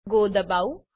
go દબાવું